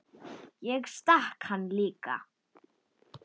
Ég stakk hann líka.